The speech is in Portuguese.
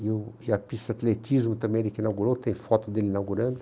E o e a pista de atletismo também ele que inaugurou, tem foto dele inaugurando.